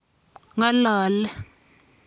Ng'alale.